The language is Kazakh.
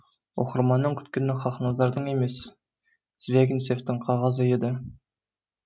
оқырманның күткені хақназардың емес звягинцевтің қағазы еді